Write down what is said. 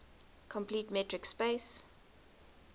complete metric space